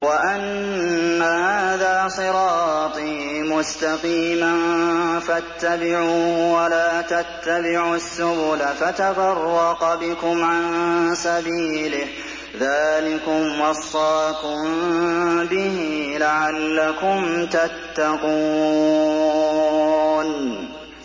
وَأَنَّ هَٰذَا صِرَاطِي مُسْتَقِيمًا فَاتَّبِعُوهُ ۖ وَلَا تَتَّبِعُوا السُّبُلَ فَتَفَرَّقَ بِكُمْ عَن سَبِيلِهِ ۚ ذَٰلِكُمْ وَصَّاكُم بِهِ لَعَلَّكُمْ تَتَّقُونَ